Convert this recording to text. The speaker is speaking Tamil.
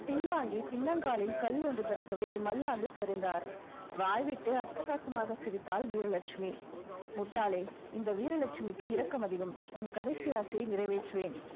பின்வாங்கி பின்னங்காலில் கல் ஒன்று தடுக்கவே மல்லாந்து சரிந்தார் வாய்விட்டு அட்டகாசமாக சிரித்தாள் வீரலட்சுமி முட்டாளே இந்த வீரலட்சுமிக்கு இரக்கம் அதிகம். உன் கடைசி ஆசையை நிறைவேற்றுவேன்